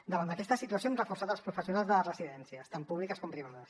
davant d’aquesta situació hem reforçat els professionals de les residències tant públiques com privades